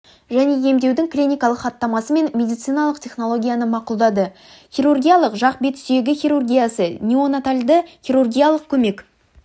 және емдеудің клиникалық хаттамасы мен медициналық технологияны мақұлдады хирургиялық жақ-бет сүйегі хирургиясы неонатальды хирургиялық көмек